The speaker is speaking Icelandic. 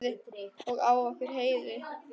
Og á okkur Heiðu.